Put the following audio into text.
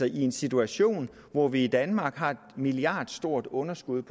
i en situation hvor vi i danmark har et milliardstort underskud